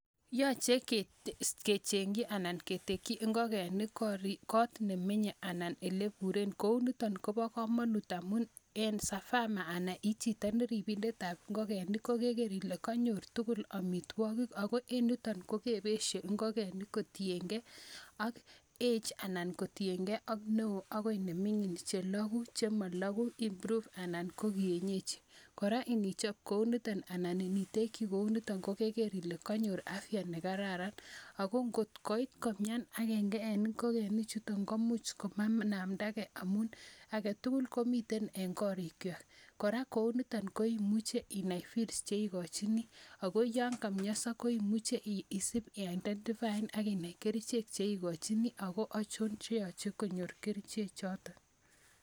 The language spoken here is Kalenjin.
Yache kecheng'chi anan ketekchi ngokenik koot ne menye anan ele pure kou nitani ko pa kamanut amu as a farmer anan i chito ne ripindet ap ngokeniik ko keker ile kanyor tugul amitwogiik ako en yutok ko kepeshe nhokenik kotien ge ak age anan lo kotien ge ak ne oo akoi ne mining'. Che lagu anan che ma lagu, (vs) improved anan ko kienyeji. Kora, inichop kou nitan, anan intekchi kou nitan , iker ile kanyor afya ne kararan. Ako ngot koit komian agenge eng' ngogenichutok komuch mainamda age amu age tugul komitei eng' karikwak. Kora kou nitam ko imuchi inai feeds che ikachini. Ako ya kamiansa ko imuchi isipi aidentifaan aki nai kerichek che ikachini ako achon che yache konyor kerchechoton.